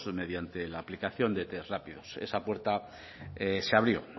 mediante la aplicación de test rápidos esa puerta se abrió